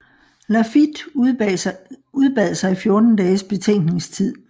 Lafitte udbad sig 14 dages betænkningstid